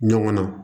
Ɲɔgɔn na